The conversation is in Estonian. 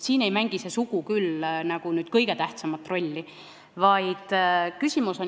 Siin ei mängi sugu küll kõige tähtsamat rolli.